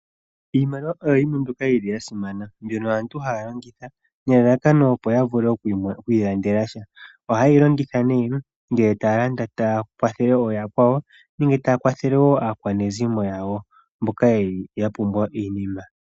Iimaliwa oyo yimwe mbyoka yili ya simana. Mbyono aantu haya longitha opo ya vule oku ilandela sha. Ohaye yi longitha nee ngele taya landele ooyakwawo nenge taya kwathele woo aakwanezimo yawo mboka yeli ya pumbwa iinima.